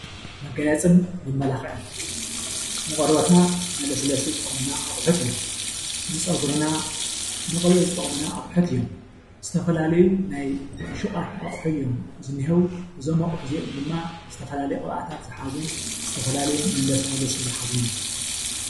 መጋየፅን መማላኽዕን ንቆርቦትና መለስለሲ ዝጠቅሙና ኣቑሑት እዮም፣ ንፀጉሪና መቕብኢ ዝጠቅሙና ኣቁሑት እዮም ። ዝተፈላለዩ ናይ ሹቓት ኣቑሑ እዮም ዝኔUው። እዞም ኣቑሑት እዚኦም ድማ ዝተፈላለየ ቅብኣታት ዝሓዙን ዝተፈላለየ መለሳለሲ ዝሓዙን እዮም።